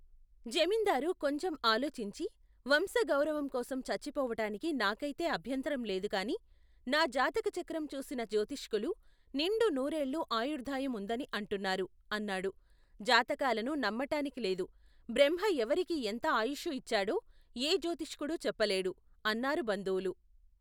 జమీందారు కొంచెం ఆలోచించి, వంశ గౌరవంకోసం చచ్చిపోవటానికి నాకైతే అభ్యంతరం లేదుగాని, నాజాతకచక్రం చూసిన జ్యోతిష్కులు నిండు నూరెళ్ళు ఆయుర్ధాయం ఉందని అంటున్నారు, అన్నాడు. జాతకాలను నమ్మటానికి లేదు. బ్రహ్మ ఎవరికి ఎంత ఆయుష్షు ఇచ్చాడో ఏ జ్యోతిష్కుడూ చెప్పలేడు, అన్నారు బంధువులు.